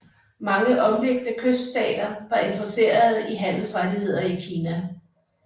Mange omliggende kyststater var interesserede i handelsrettigheder i Kina